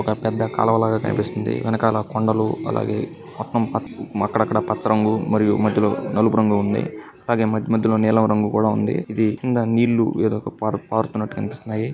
ఒక పెద్ద కాల్వలాగా కనిపిస్తుంది వెనకాల కొండలు మొత్తం అక్కడక్కడ పత్ర పత్రములు మరియు మధ్యలో నలుపు రంగుఉంది అలాగే మధ్య మధ్యలో నీలం రంగు కూడా ఉంది ఇది కింద నీళ్లు ఏరులా పారుతున్నట్టు కనిపిస్తుంది.